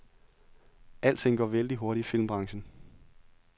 Alting går vældig hurtigt i filmbranchen.